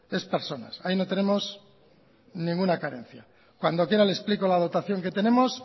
es personas ahí no tenemos ninguna carencia cuando quiera le explico la dotación que tenemos